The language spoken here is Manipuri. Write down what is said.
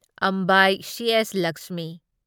ꯑꯝꯕꯥꯢ ꯁꯤ.ꯑꯦꯁ. ꯂꯛꯁꯃꯤ